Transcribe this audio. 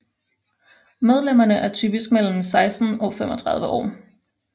Medlemmerne er typisk mellem 16 og 35 år